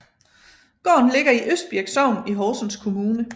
Gården ligger i Østbirk Sogn i Horsens Kommune